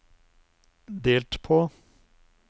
delt på